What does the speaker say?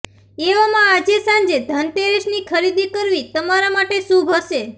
એવામાં આજે સાંજે ધનતેરસની ખરીદી કરવી તમારા માટે શુભ હશે